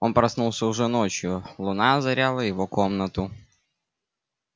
он проснулся уже ночью луна озаряла его комнату